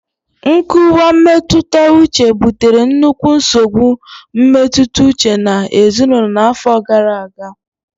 nkuwa mmetụta uche butere nnukwu nsogbu mmetụta uche na ezinaụlọ n'afọ gara aga.